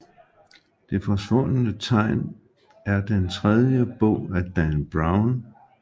Det Forsvundne Tegn er den tredje bog af Dan Brown